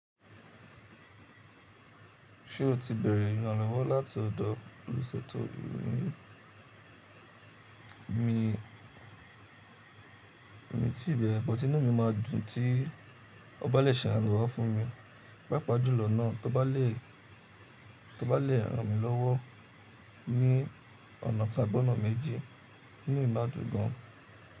Ṣé o ti bẹ̀rẹ̀ ìrànilọ́wọ́ láti ọdọ olùṣètò abúlé mi? Mi, mi ti bẹ̀rẹ̀, bọ́ti inú mi máa dùn tí ó bá lè ṣe àrànlọ́wọ́ fún mi. Pàápà jùlọ náà tó bá lè, tó bá lè ràn mí lọ́wọ́ ní ọ̀nà kan abí ọ̀nà méjì, inú mi má dùn gan.